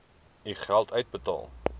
u geld uitbetaal